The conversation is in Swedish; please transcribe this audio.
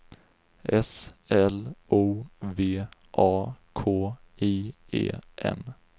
S L O V A K I E N